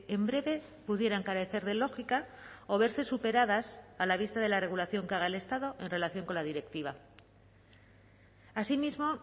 en breve pudieran carecer de lógica o verse superadas a la vista de la regulación que haga el estado en relación con la directiva asimismo